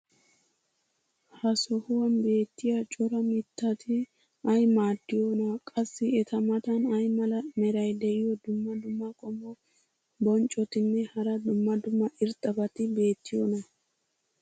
ha sohuwan beetiya cora mitatti ay maadiyoonaa? qassi eta matan ay mala meray diyo dumma dumma qommo bonccotinne hara dumma dumma irxxabati beetiyoonaa?